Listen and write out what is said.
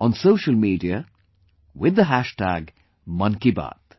on social media with the hashtag 'Mann Ki Baat'